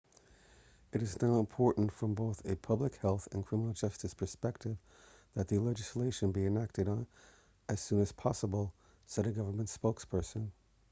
it is now important from both a public health and criminal justice perspective that the legislation be enacted as soon as possible said a government spokesperson